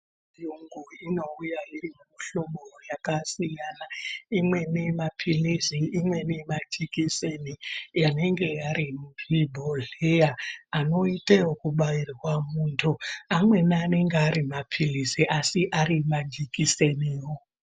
Chiongo inouya iri muhlobo yakasiyana imweni mapilizi imwéni majikiseni anenge ari muzvibhodhleya anoite ekubairwa muntu amweni anenge ari mapilizi asi ari majikiseniwo.